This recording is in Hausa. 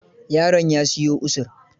Yaron ya siyo usur.